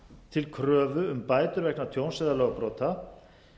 til kröfu um bætur vegna tjóns eða lögbrota